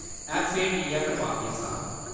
FATF Pakistan